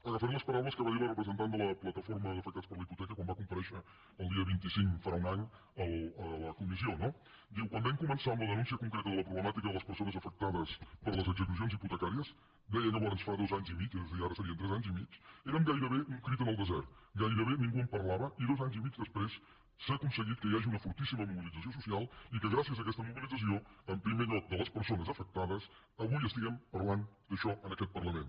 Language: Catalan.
agafaré les paraules que va dir la representant de la plataforma d’afectats per la hipoteca quan va comparèixer el dia vint cinc farà un any a la comissió no diu quan vam començar amb la denúncia concreta de la problemàtica de les persones afectades per les execucions hipotecàries deia llavors fa dos anys i mig és a dir ara serien tres anys i mig érem gairebé un crit en el desert gairebé ningú en parlava i dos anys i mig després s’ha aconseguit que hi hagi una fortíssima mobilització social i que gràcies a aquesta mobilització en primer lloc de les persones afectades avui estiguem parlant d’això en aquest parlament